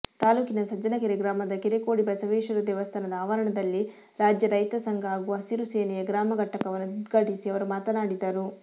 ತಾಲೂಕಿನ ಸಜ್ಜನಕೆರೆ ಗ್ರಾಮದ ಕೆರೆಕೋಡಿ ಬಸವೇಶ್ವರ ದೇವಸ್ಥಾನದ ಆವರಣದಲ್ಲಿ ರಾಜ್ಯ ರೈತಸಂಘ ಹಾಗೂ ಹಸಿರುಸೇನೆಯ ಗ್ರಾಮಘಟಕವನ್ನು ಉದ್ಘಾಟಿಸಿ ಅವರು ಮಾತನಾಡಿದರು